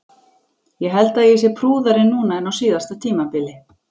Ég held að ég sé prúðari núna en á síðasta tímabili.